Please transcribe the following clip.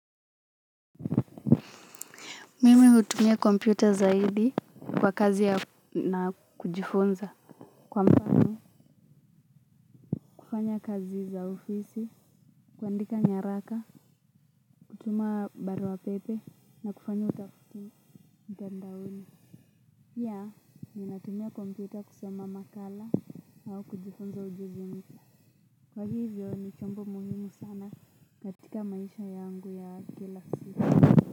Mimi hutumia kompyuta zaidi kwa kazi na kujifunza. Kwa mapana kufanya kazi za ofisi kuandika nyaraka. Hutumia baruapepe na kufanya utafiti mtandaoni pia ninatumia kompyuta kusoma makala au kujifunza ujuzi mpya. Kwa hivyo ni chombo muhimu sana katika maisha yangu ya galaxy.